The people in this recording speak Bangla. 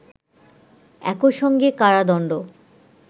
একইসঙ্গে কারাদণ্ড